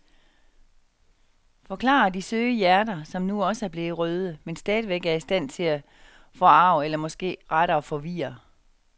Forklarer de søde hjerter, som nu også er blevet røde, men stadigvæk er i stand til at forarge eller måske rettere forvirre.